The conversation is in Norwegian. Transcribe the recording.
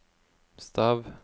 stav